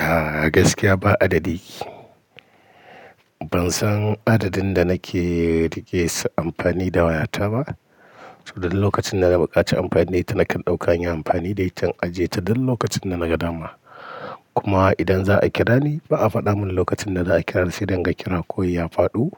A gaskiya ba adadi ki. Ban san adadin da nake riƙe sa amfani da wayata ba. Saboda duk lokacin da na buƙaci amfani da ita nakan ɗauka in yi amfani da ita in ajiye ta duk lokacin da naga dama. Kuma idan za a kira ni ba a faɗa min lokacin da za a kira sai dai in ga kiran kawai ya faɗo